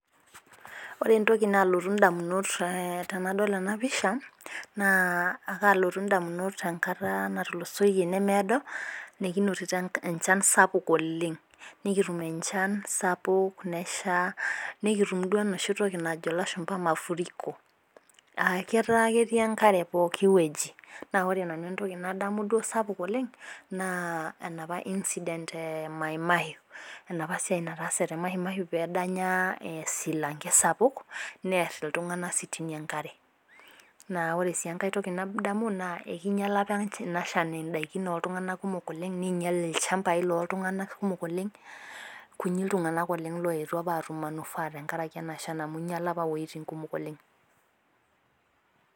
Ore entoki nalotu damunot tenadol pisha, naa kaalotu damunot enkata natulosoyie, nemeedo, nikinotito enchan sapuk oleng. nikitum enchan sapuk, nesha nikitum duo enoshi toki najo lashumpa mafuriko etaa ketii enkare pooki wueji. naa ore nanu entoki nadamu duo sapuk oleng naa enapa incident e maimaiu enapa siai naataase te maimaiu pee edanya esilanke sapuk need iltunganak sitini enkare. naa ore sii enkae toki nadamu naa ekingiala apa Ina Shana idaikin ooltunganak nkumok oleng. neingial ilchampai looltunganak kumok oleng. kunyil iltunganak oleng looyetuo aatum manufaa tenkaraki ena Shan amu ingiala apa iwuejitin, kumok oleng.